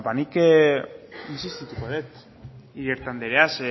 nik intsistituko dut iriarte andrea